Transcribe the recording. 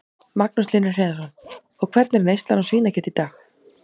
Magnús Hlynur Hreiðarsson: Og hvernig er neyslan á svínakjöti í dag?